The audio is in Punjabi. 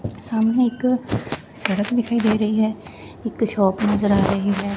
ਸਾਹਮਣੇ ਇੱਕ ਸੜਕ ਦਿਖਾਈ ਦੇ ਰਹੀ ਹੈ ਇੱਕ ਸ਼ੋਪ ਨਜ਼ਰ ਆ ਰਹੀ ਹੈ।